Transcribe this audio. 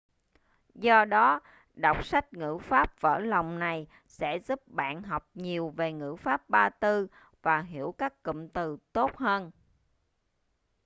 do đó đọc sách ngữ pháp vỡ lòng này sẽ giúp bạn học nhiều về ngữ pháp ba tư và hiểu các cụm từ tốt hơn